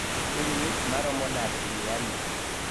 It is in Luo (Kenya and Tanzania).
piny ng'ich maromo nade e miami